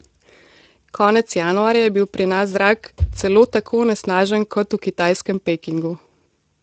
Konec januarja je bil pri nas zrak celo tako onesnažen kot v kitajskem Pekingu.